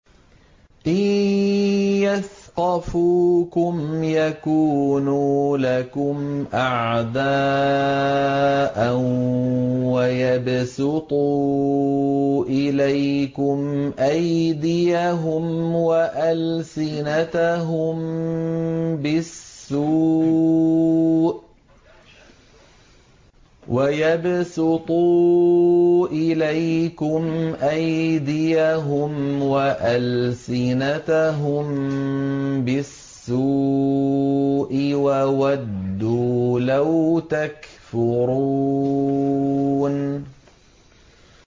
إِن يَثْقَفُوكُمْ يَكُونُوا لَكُمْ أَعْدَاءً وَيَبْسُطُوا إِلَيْكُمْ أَيْدِيَهُمْ وَأَلْسِنَتَهُم بِالسُّوءِ وَوَدُّوا لَوْ تَكْفُرُونَ